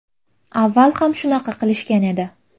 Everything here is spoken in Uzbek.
Avval ham shunaqa qilishgan edi.